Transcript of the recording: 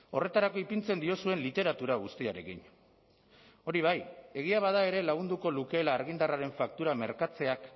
horretarako ipintzen diozuen literatura guztiarekin hori bai egia bada ere lagunduko lukeela argindarraren faktura merkatzeak